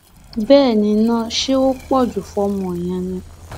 bẹẹ ni náà ṣé ó pọ jù fọmọ yẹn ni